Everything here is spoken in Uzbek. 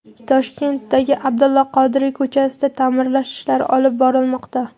Toshkentdagi Abdulla Qodiriy ko‘chasida ta’mirlash ishlari olib borilmoqda.